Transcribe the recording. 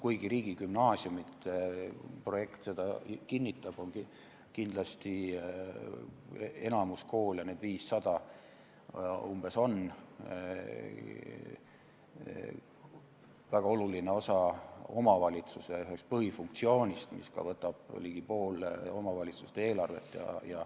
Kuigi riigigümnaasiumide projekt võib seda kinnitada, on kindlasti enamik koole väga oluline osa omavalitsuse ühest põhifunktsioonist, mis võtab ka ligi poole omavalitsuse eelarvest.